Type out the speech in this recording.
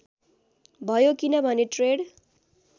भयो किनभने ट्रेड